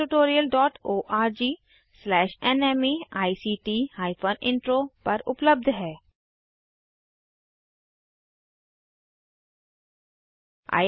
इस ट्यूटोरियल के लिए एनिमेशन आरती और ड्राइंग्स सौरभ गाडगिल द्वारा किया गया है